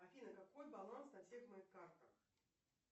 афина какой баланс на всех моих картах